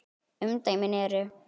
Umdæmin eru